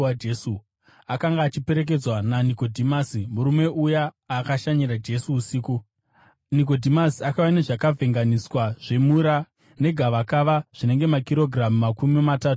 Akanga achiperekedzwa naNikodhimasi, murume uya akashanyira Jesu usiku. Nikodhimasi akauya nezvakavhenganiswa zvemura negavakava, zvinenge makirogiramu makumi matatu namana.